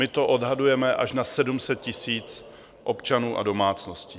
My to odhadujeme až na 700 000 občanů a domácností.